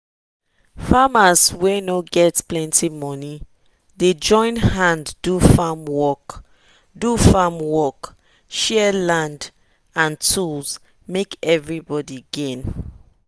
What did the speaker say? farmers wey no get plenty money dey join hand do farm work do farm work share land and tools make everybody gain.